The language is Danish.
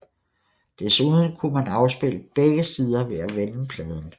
Desuden kunne man afspille begge sider ved at vende pladen